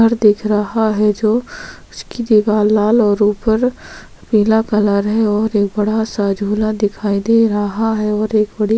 घर दिख रहा हैं जो उसकी दीवार लाल और उपर पीला कलर हैं और एक बड़ा सा झूला दिखाई दे रहा हैं और एक बड़ी --